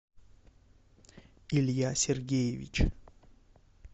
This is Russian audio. илья сергеевич